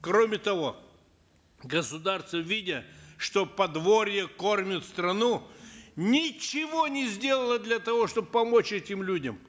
кроме того государство видя что подворье кормит страну ничего не сделало для того чтоб помочь этим людям